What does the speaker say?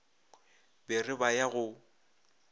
ba re ba ya go